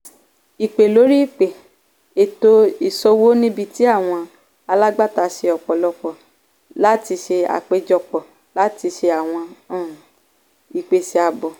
ìpè lórí ìpè - ètò ìṣòwò níbi tí àwọn alágbàtà ṣe àpéjọpọ̀ láti ṣe àpéjọpọ̀ láti ṣe àwọn um ìpèsè àábò.